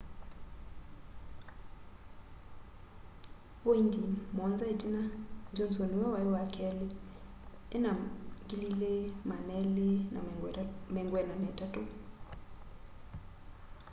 voindi muonza itina johnson niwe wa keli ena 2,243